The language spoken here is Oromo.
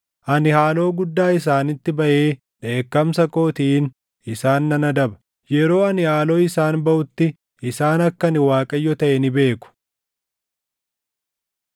Ani haaloo guddaa isaanitti baʼee dheekkamsa kootiin isaan nan adaba. Yeroo ani haaloo isaan baʼutti isaan akka ani Waaqayyo taʼe ni beeku.’ ”